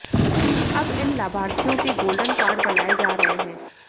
अब इन लाभार्थियों के गोल्डन कार्ड बनाए जा रहे हैं